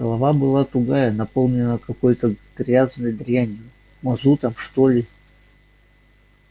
голова была тугая наполненная какой-то грязной дрянью мазутом что ли